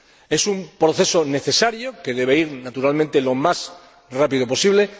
Es un proceso necesario, que debe ir, naturalmente, lo más rápido posible.